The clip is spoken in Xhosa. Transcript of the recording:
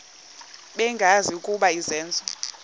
bengazi ukuba izenzo